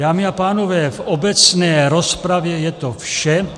Dámy a pánové, v obecné rozpravě je to vše.